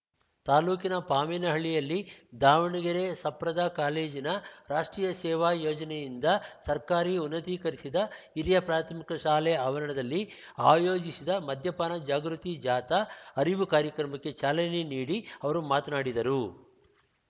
ತಾಲೂಕಿನ ಪಾಮೇನಹಳ್ಳಿಯಲ್ಲಿ ದಾವಣಗೆರೆ ಸಪ್ರದ ಕಾಲೇಜಿನ ರಾಷ್ಟ್ರೀಯ ಸೇವಾ ಯೋಜನೆಯಿಂದ ಸರ್ಕಾರಿ ಉನ್ನತೀಕರಿಸಿದ ಹಿರಿಯ ಪ್ರಾಥಮಿಕ ಶಾಲೆ ಆವರಣದಲ್ಲಿ ಆಯೋಜಿಸಿದ ಮದ್ಯಪಾನ ಜಾಗೃತಿ ಜಾಥಾ ಅರಿವು ಕಾರ್ಯಕ್ರಮಕ್ಕೆ ಚಾಲನೆ ನೀಡಿ ಅವರು ಮಾತನಾಡಿದರು